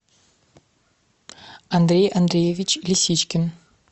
андрей андреевич лисичкин